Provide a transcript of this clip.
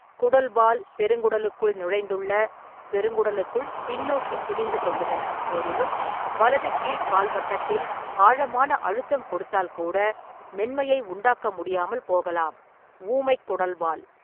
குடல்வால் பெருங்குடலுக்குள் நுழைந்துள்ள (பெருங்குடலுக்குள் பின்னோக்கி திணிந்து கொள்ளுதல்) போதிலும், வலது கீழ் கால்வட்டத்தில் ஆழமான அழுத்தம் கொடுத்தால் கூட மென்மையை உண்டாக்க முடியாமல் போகலாம் (ஊமைக் குடல்வால்).